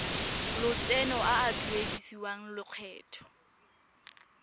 lotseno a a duedisiwang lokgetho